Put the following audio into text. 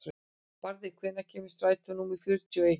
Barði, hvenær kemur strætó númer fjörutíu og eitt?